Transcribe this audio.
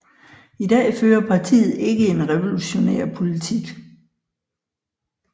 I dag fører partiet ikke en revolutionær politik